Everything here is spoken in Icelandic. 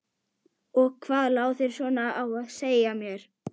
Ég þurfti að komast út undir bert loft.